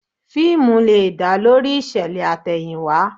Fíìmù lè dá lórí ìṣẹ̀lẹ̀ àtẹ̀yìnwá